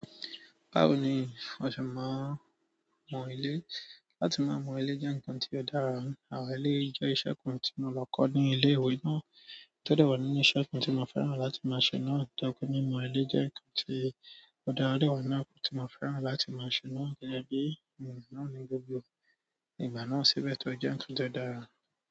Báwo ni a ṣe máa mọ ilé? Látí má mọ ilé jẹ́ ǹnkan tí ó dára. Àwọn eléyìí jẹ́ ìṣẹ́ kan tí mo lọ kọ́ ní ilé ìwé náà, tó dà wa nínú ìṣẹ́ kan tí mo fẹ́ràn láti máa ṣe náà. To jẹ pé mimọ ilé jẹ́ ǹnkan tí ó dára o de wa nínú àwọn nǹkan tí mo fẹ́ràn láti máa ṣe náà gẹ́gẹ́ bí ènìyàn náà ní gbogbo ìgbà náà ṣíbẹ́ tó jẹ́ ǹnkan tó dára.